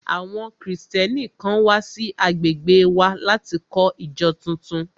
Àwọn Kristẹni kan wà sí agbègbè wa láti kọ́ ìjọ tuntun